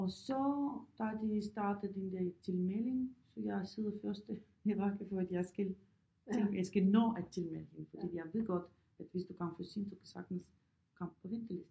Og så da de startet den der tilmelding så jeg sidder første i række for at jeg skal til jeg skal nå at tilmelde hende fordi jeg ved godt at hvis du kommer for sent så kan du sagtens komme på venteliste